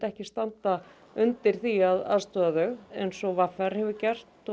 ekki standa undir því að aðstoða þau eins og v r hefur gert